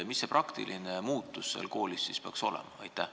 Mis see praktiline muutus seal koolis peaks olema?